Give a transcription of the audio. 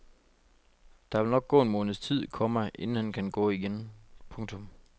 Der vil nok gå en måneds tid, komma inden han kan gå igen. punktum